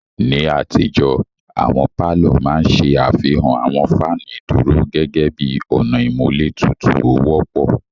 Ni àtijó, àwọn palọ ma n ṣe afihan awọn fanu iduro gẹgẹbi ọna imulé tutu o wọpọ.